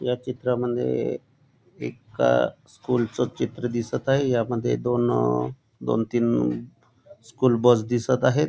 या चित्रामद्धे एक स्कूल च चित्र दिसत आहे यामध्ये दोन दोन तीन स्कूल बस दिसत आहेत.